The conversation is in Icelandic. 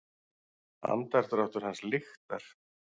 Andardráttur hans lyktar.